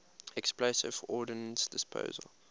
explosive ordnance disposal